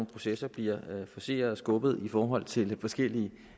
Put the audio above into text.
processer bliver forceret og skubbet i forhold til forskellige